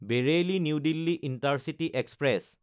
Bareilly New Delhi intercity express